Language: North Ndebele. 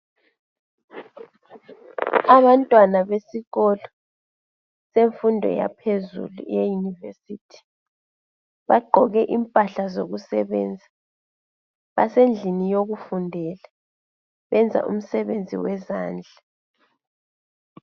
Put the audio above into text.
Abantwana besikolo semfundo yaphezulu eyeYunivesi. Bagqoke impahla zokusebenza. Basendlini yokufundela. Benza umsebenzi wezandla.